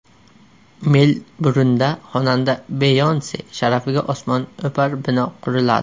Melburnda xonanda Beyonse sharafiga osmono‘par bino quriladi.